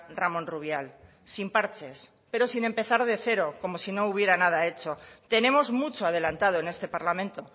ramón rubial sin parches pero sin empezar de cero como si no hubiera nada hecho tenemos mucho adelantado en este parlamento